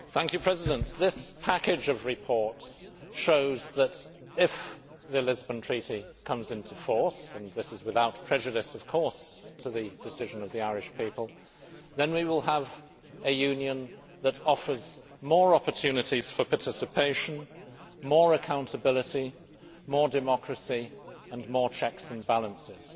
Mr President, this package of reports shows that, if the Lisbon Treaty comes into force and this is without prejudice, of course, to the decision of the Irish people then we will have a Union that offers more opportunities for participation, more accountability, more democracy and more checks and balances.